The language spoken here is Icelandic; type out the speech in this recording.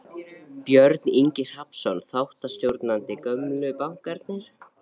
Björn Ingi Hrafnsson, þáttastjórnandi: Gömlu bankarnir?